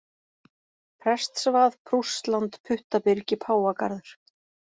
Prestsvað, Prússland, Puttabyrgi, Páfagarður